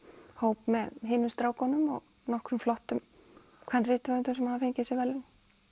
hóp með hinum strákunum og nokkrum flottum kvenrithöfundum sem hafa fengið þessi verðlaun